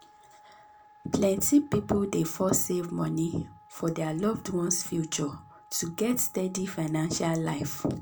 plenty people dey first save money for dir loved ones' future to get steady financial life.